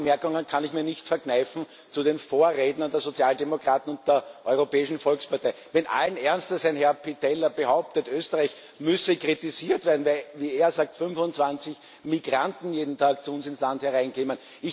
Ein paar Bemerkungen kann ich mir nicht verkneifen zu den Vorrednern der Sozialdemokraten und der Europäischen Volkspartei, wenn ein Herr Pittella allen Ernstes behauptet, Österreich müsse kritisiert werden, weil, wie er sagt, 25 Migranten jeden Tag zu uns ins Land hereinkämen.